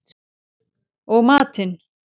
Og matinn